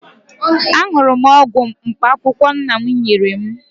Aṅụrụ m ọgwụ mkpaakwụkwọ nna m nyere m